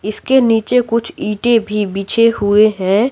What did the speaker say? इसके नीचे कुछ ईंटे भी बिछे हुए हैं।